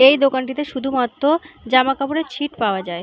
এই দোকানটিতে শুধুমাত্র জামাকাপড়ের ছিট্ পাওয়া যায় ।